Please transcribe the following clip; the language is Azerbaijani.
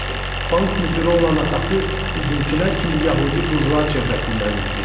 Bank müdiri olan atası bizimkilər kimi yəhudi burjua çevrəsindən idi.